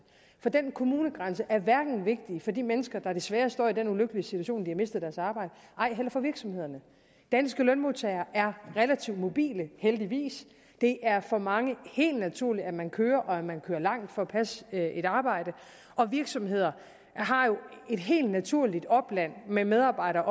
for den kommunegrænse er hverken vigtig for de mennesker der desværre står i den ulykkelige situation at de har mistet deres arbejde eller for virksomhederne danske lønmodtagere er relativt mobile heldigvis det er for mange helt naturligt at man kører og at man kører langt for at passe et arbejde og virksomheder har jo et helt naturligt opland med medarbejdere